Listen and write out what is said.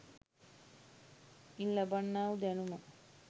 ඉන් ලබන්නා වූ දැනුම